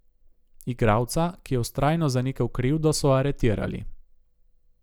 Igralca, ki je vztrajno zanikal krivdo, so aretirali.